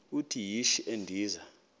uthi yishi endiza